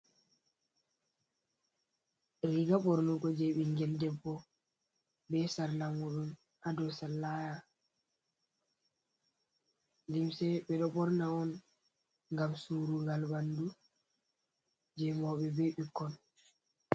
Riga ɓornugo je ɓingel debbo be sarlamudun ha dou sallaya, limse ɓeɗo ɓorna on gam surugal ɓandu je mawɓe be ɓikkon.